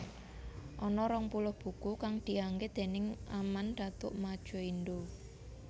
Ana rong puluh buku kang dianggit déning Aman Datuk Madjoindo